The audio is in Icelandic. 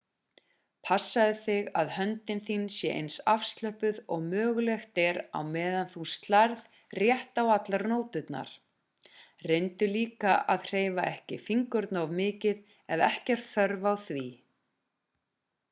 passaðu þig að höndin þín sé eins afslöppuð og mögulegt er á meðan þú slærð rétt á allar nóturnar reyndu líka að hreyfa ekki fingurna of mikið ef ekki er þörf á því